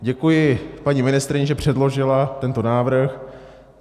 Děkuji paní ministryni, že předložila tento návrh.